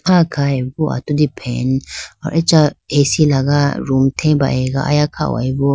Ah khayibo atudi fan acha A_C laga room they ba ayiga aya khayibo.